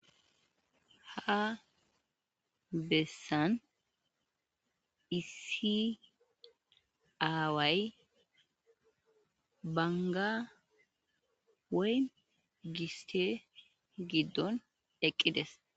ha bessan isiaaway banga wey giste giddon eqqides